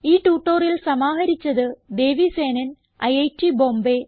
ഈ ട്യൂട്ടോറിയൽ സമാഹരിച്ചത് ദേവി സേനൻ ഐറ്റ് ബോംബേ